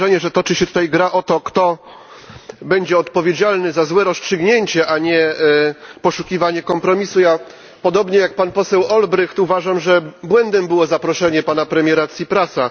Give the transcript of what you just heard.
Mam wrażenie, że toczy się tutaj gra o to, kto będzie odpowiedzialny za złe rozstrzygnięcie, a nie poszukiwanie kompromisu. Ja, podobnie jak pan poseł Olbrycht, uważam, że błędem było zaproszenie pana premiera Ciprasa.